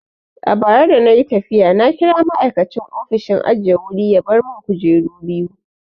A bara dana yi tafiya na kira ma'aikacin ofishin ajiye wuri ya bar mun kujeru biyu.